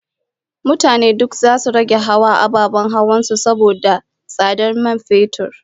Mutane duk zasu rage hawa ababen hawansu na kan su saboda tsadar man fetur